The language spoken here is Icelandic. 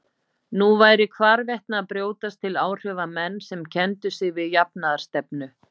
Nú væru hvarvetna að brjótast til áhrifa menn sem kenndu sig við jafnaðarstefnu.